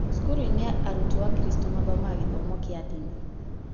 cukuruinĩ arutwo akristo mathomaga gĩthomo kĩa ndini